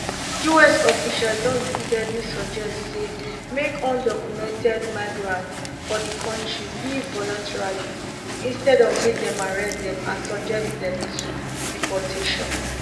us officials don repeatedly suggest say make undocumented migrants for di kontri leave voluntarily instead of make dem arrest dem and subject dem to deportation